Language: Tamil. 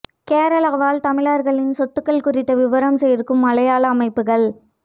கேரள வாழ் தமிழர்களின் சொத்துகள் குறித்த விவரம் சேர்க்கும் மலையாள அமைப்புகள்